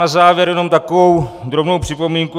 Na závěr jenom takovou drobnou připomínku.